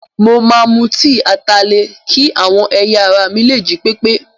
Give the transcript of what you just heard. Mo máa mu tíì ataalẹ̀ kí àwọn ẹ̀yà ara mi lè jí pépé.